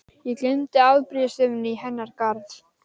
Þú sagðir mér að hann hefði verið skotinn um morguninn.